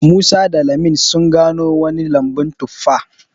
Musa da lami sun gano wani lambun tuffa